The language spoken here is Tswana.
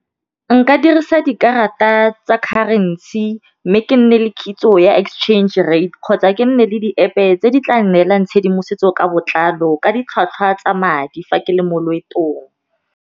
Nka dirisa dikarata tsa currency, mme ke nne le kitso ya exchange rate kgotsa ke nne le di-App-e tse di tla neelang tshedimosetso ka botlalo ka ditlhwatlhwa tsa madi fa ke le mo loetong.